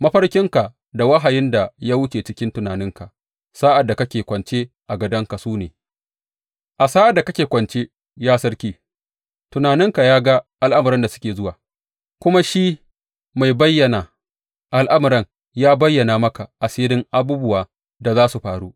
Mafarkinka da wahayin da ya wuce cikin tunaninka a sa’ad da kake kwance a gadonka su ne, A sa’ad da kake kwance, ya sarki, tunaninka ya ga al’amuran da suke zuwa, kuma shi mai bayyana al’amuran ya bayyana maka asiran abubuwan da za su faru.